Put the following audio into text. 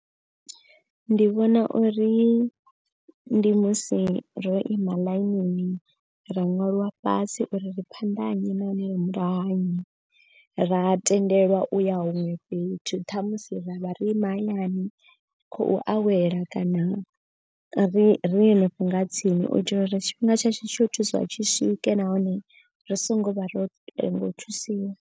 Ndi vhona uri ndi musi ro ima ḽainini ra ṅwalwa fhasi uri ri phanḓa nnyi nahone murahu ha nnyi. Ra tendelwa u ya huṅwe fhethu ṱhamusi ra vha ri mahayani khou awela kana ri ri hanefho nga tsini. U itela uri tshifhinga tsha tsho thusiwa tshi swike nahone ri songo vha ro lenga u thusiwa.